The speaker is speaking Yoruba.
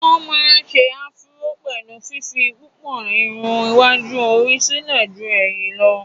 wọ́n má ń se afuró pẹ̀lú fífi púpọ̀ Irun iwájú orí sílẹ̀ jú ẹ̀yìn lọ́